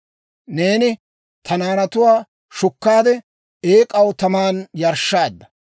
Neeni ta naanatuwaa shukkaade, eek'aw taman yarshshaadda.